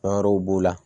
Fɛn wɛrɛw b'o la